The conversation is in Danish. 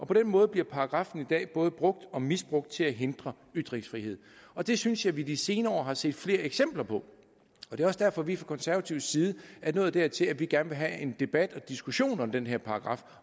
på den måde bliver paragraffen i dag både brugt og misbrugt til at hindre ytringsfrihed og det synes jeg vi de senere år har set flere eksempler på det er også derfor at vi fra konservatives side er nået dertil at vi gerne vil have en debat og en diskussion om den her paragraf